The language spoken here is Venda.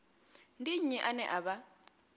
ndi nnyi ane a vha